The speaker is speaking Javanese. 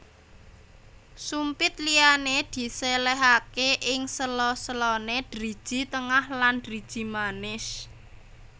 Sumpit liyane diselehake ing sela selane driji tengah lan driji manis